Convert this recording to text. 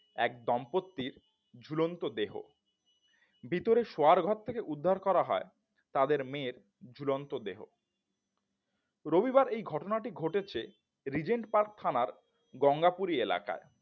এক দম্পতির ঝুলন্ত দেহ ভেতরে শোয়ার ঘর থেকে উদ্ধার করা হয় তাদের মেয়ের ঝুলন্ত দেহ রবিবার এই ঘটনাটি ঘটেছে রিজেন্ট পার্ক থানার গঙ্গাপুরী এলাকার